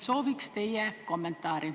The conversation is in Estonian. Sooviks teie kommentaari.